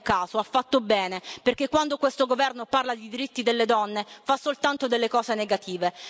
Non è un caso, ha fatto bene, perché quando questo Governo parla di diritti delle donne fa soltanto delle cose negative.